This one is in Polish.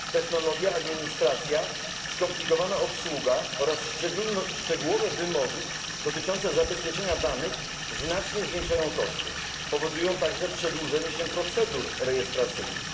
Technologia, administracja, skomplikowana obsługa oraz szczegółowe wymogi dotyczące zabezpieczenia danych znacznie zwiększają koszty, powodują także przedłużanie się procedur rejestracyjnych.